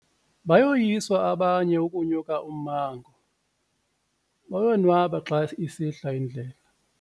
Bayoyiswa abanye ukunyuka ummango bonwaba xa isihla indlela.